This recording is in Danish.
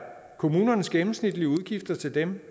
kommunernes gennemsnitlige udgifter til dem